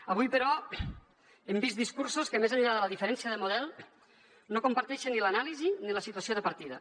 avui però hem vist discursos que més enllà de la diferència de model no comparteixen ni l’anàlisi ni la situació de partida